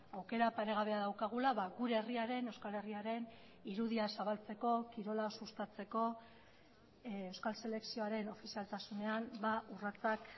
aukera paregabea daukagula gure herriaren euskal herriaren irudia zabaltzeko kirola sustatzeko euskal selekzioaren ofizialtasunean urratsak